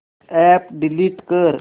app delete कर